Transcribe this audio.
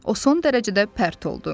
O son dərəcədə pərt oldu.